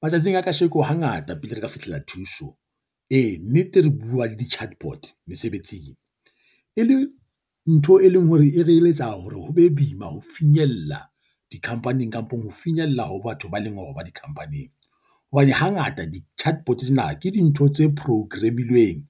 Matsatsing a kasheko hangata pele re ka fihlella thuso, e nnete re bua le di-chatbot mesebetsing e le ntho e leng hore e re eletsa hore ho be boima ho finyella di-company-ng, kampong ho finyella ho batho ba leng hore ba di-company-ng. Hobane hangata di-chatbot tsena ke dintho tse program-ilweng